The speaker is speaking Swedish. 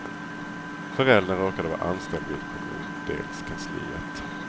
Föräldern råkade vara anställd vid kommundelskansliet.